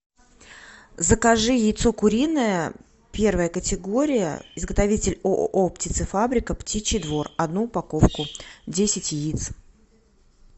закажи яйцо куриное первая категория изготовитель ооо птицефабрика птичий двор одну упаковку десять яиц